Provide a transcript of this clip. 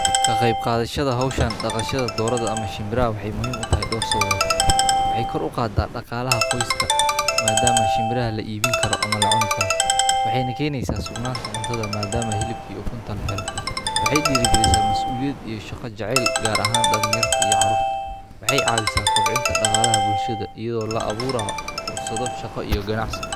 Ka qeyb qadashadha Hawshaan dhaqashada, dooradda ama shimbira waxay muhiim u tahay dhowr sababood. Waxay kor u qaada dhaqaalaha qoyska maadaama shimbira la iibin karo ama la cuni karo. Waxay ninkaynaysaa sugnaanta cuntada maadaama hilibkii u kunta la helo. Waxay dhigresaa masuuliyad iyo shaqo jacayl gaar ahaan dhan yarta iyo carruurta. Waxay caabisaa kobcinta dhaqaalaha bulshada iyadoo la abuuraha fursado shaqo iyo ganacsi.